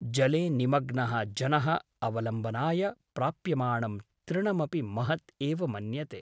जले निमग्नः जनः अवलम्बनाय प्राप्यमाणं तृणमपि महत् एव मन्यते ।